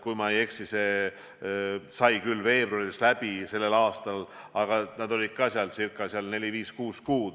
Kui ma ei eksi, siis see sai küll veebruaris läbi, aga nad olid ka seal neli-viis-kuus kuud.